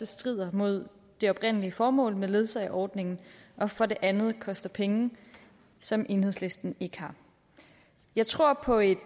strider mod det oprindelige formål med ledsageordningen og for det andet koster penge som enhedslisten ikke har jeg tror på et